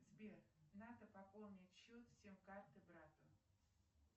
сбер надо пополнить счет сим карты брата